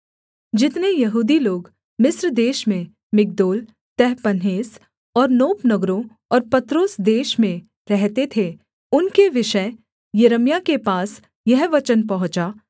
जितने यहूदी लोग मिस्र देश में मिग्दोल तहपन्हेस और नोप नगरों और पत्रोस देश में रहते थे उनके विषय यिर्मयाह के पास यह वचन पहुँचा